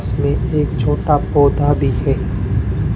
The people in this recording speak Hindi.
इसमें एक छोटा पौधा भी है।